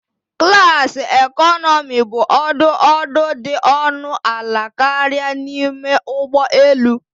Klasi economi bụ ọdụ ọdụ dị ọnụ ala karịa n'ime ụgbọ elu